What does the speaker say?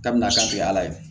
Kabini a kan tɛ ala ye